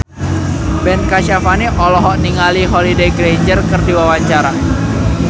Ben Kasyafani olohok ningali Holliday Grainger keur diwawancara